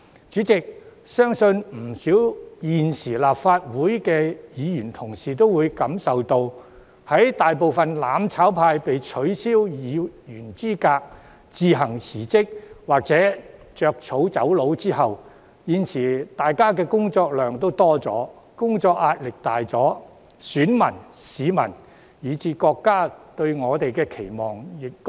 主席，我相信不少在任的立法會議員均感受到，在大部分"攬炒派"議員被取消議員資格、自行辭職或"着草走路"後，大家的工作量有所增加，工作壓力加重，選民、市民以至國家對我們的期望更高。